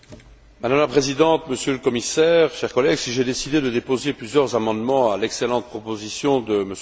Madame la Présidente, Monsieur le Commissaire, chers collègues, si j'ai décidé de déposer plusieurs amendements à l'excellente proposition de M.